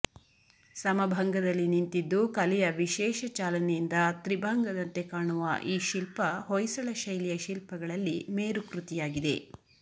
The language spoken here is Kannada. ಸಮಭಂಗದಲ್ಲಿ ನಿಂತಿದ್ದು ಕಲೆಯ ವಿಶೇಷ ಚಾಲನೆಯಿಂದ ತ್ರಿಭಂಗದಂತೆ ಕಾಣುವ ಈ ಶಿಲ್ಪ ಹೊಯ್ಸಳ ಶೈಲಿಯ ಶಿಲ್ಪಗಳಲ್ಲಿ ಮೇರು ಕೃತಿಯಾಗಿದೆ